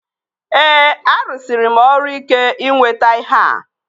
Ee, arụsịrị m ọrụ ike ịnweta ihea